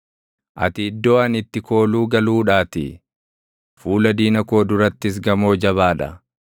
Ati iddoo ani itti kooluu galuudhaatii; fuula diina koo durattis gamoo jabaa dha.